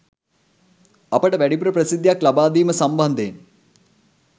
අපට වැඩිපුර ප්‍රසිද්ධියක් ලබා දීම සම්බන්ධයෙන්